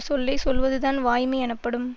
சொல்லை சொல்வதுதான் வாய்மை எனப்படும்